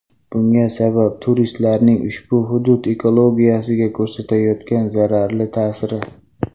Bunga sabab turistlarning ushbu hudud ekologiyasiga ko‘rsatayotgan zararli ta’siri.